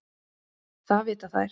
Það vita þær.